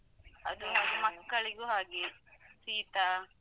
ಅದು ಹೌದು ಮಕ್ಕಳಿಗೂ ಹಾಗೆ ಶೀತ.